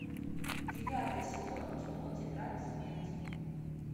девятый сезон кино тетрадь смерти